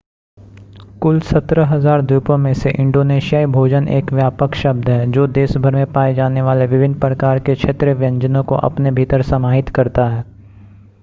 कुल 17,000 द्वीपों में से इंडोनेशियाई भोजन एक व्यापक शब्द है जो देश भर में पाए जाने वाले विभिन्न प्रकार के क्षेत्रीय व्यंजनों को अपने भीतर समाहित करता है